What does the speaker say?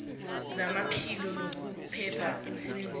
zamaphilo nokuphepha emsebenzini